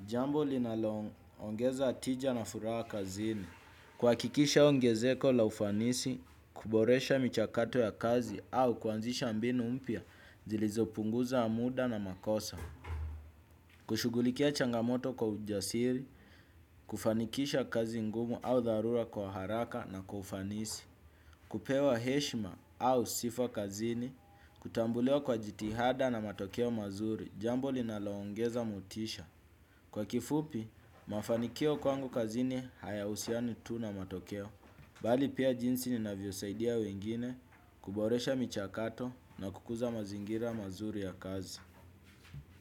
Jambo linalo ongeza atija na furaha kazini. Kwa kikisha ungezeko la ufanisi, kuboresha michakato ya kazi au kuanzisha ambinu umpia zilizopunguza amuda na makosa. Kushugulikia changamoto kwa ujasiri, kufanikisha kazi ngumu au darura kwa haraka na kufanisi. Kupewa heshima au sifwa kazini, kutambulewa kwa jitihada na matokeo mazuri, jambuli na laongeza mutisha. Kwa kifupi, mafanikio kwangu kazini haya usiani tu na matokeo. Bali pia jinsi ninavyo saidia wengine kuboresha micha kato na kukuza mazingira mazuri ya kazi.